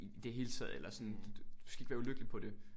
I det hele taget eller sådan du skal ikke være ulykkelig på det